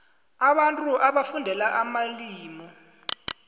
abantu bafundela amalimu